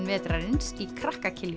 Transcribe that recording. vetrarins í krakka